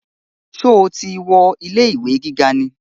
Sọ ti wọ ilé ìwé gíga ni?